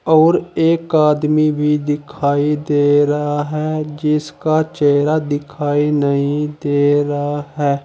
और एक आदमी भी दिखाई दे रहा है जिसका चेहरा दिखाई नहीं दे रहा है।